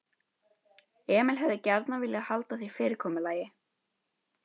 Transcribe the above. Emil hefði gjarnan viljað halda því fyrirkomulagi.